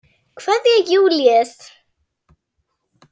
Kveðja, Júlíus.